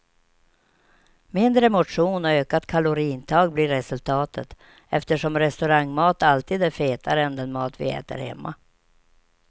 Mindre motion och ökat kaloriintag blir resultatet, eftersom restaurangmat alltid är fetare än den mat vi äter hemma.